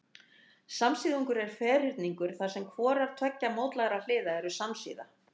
Samsíðungur er ferhyrningur þar sem hvorar tveggja mótlægra hliða eru samsíða.